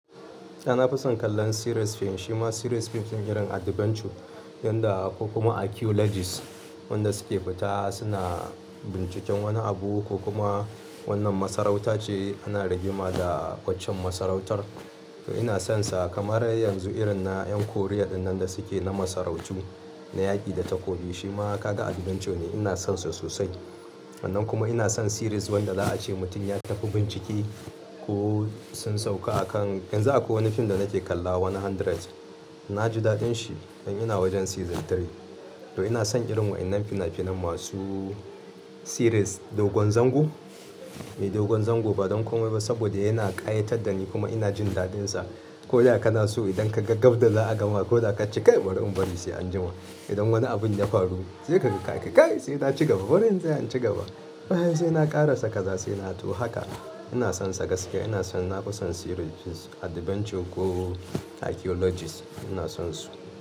Eh na fi son kallon series fim, shi ma series fim sun irin adventure yanda kuma archaeologist wanda suke fita suna binciken wani abu ko kuma wannan masarauta ce ana rigima da ƙwaccen masarautar. To ina sonsa kamar yanzu irin na ƴan korea dinnan da suke na masarautu na yaƙi da takobi shi ma kaga adventure ne ina sonsu sosai. Sannan kuma ina son series wanda za a ce mutum ya tafi bincike ko sun sauka a kan, yanzu akwai wani fim da nake kalla One Hundred. Na ji daɗin shi in ina wajen season three. To ina son irin waɗannan finafinan masu series. Dogon zango? Eh dogon zango ba don komai ba saboda yana ƙayatar da ni kuma ina jin daɗinsa. Ko da kana so idan ka ga gab da za a gama ko da ka ce "Kai bari in bari sai anjima". Idan wani abun ya faru sai ji ka ce "Kai sai na ci gaba bari in tsaya na ci gaba". Bayan sai na ƙarasa kaza sai na to haka ina sonsa gaskiya ina son na fi son series fim adventure ko archaeologist ina sonsu.